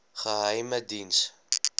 geheimediens